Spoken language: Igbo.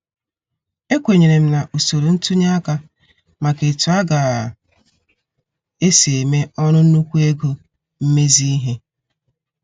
Ekwenyerem na usoro ntunye aka maka etu aga- esi eme ọrụ nnukwu ego mmezi ihe.